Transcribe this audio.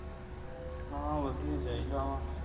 ਹਾਂ ਵਧੀਆ ਈ ਚਾਹੀਦਾ ਵਾਂ